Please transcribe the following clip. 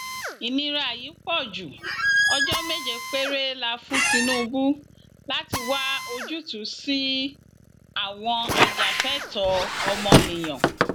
ìnira yìí pọ ju ọjọ méje péré la fún tinubu láti wá ojútùú sí i àwọn ajàfẹtọọ ọmọnìyàn